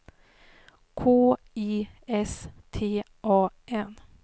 K I S T A N